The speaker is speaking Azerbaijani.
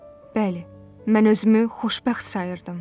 Bəli, mən özümü xoşbəxt sayırdım.